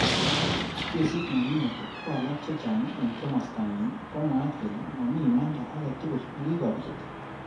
Kesit nenyinet ko alak chechang eng kimosta nyi komwaat kele mami imanda age tugul nekikobit.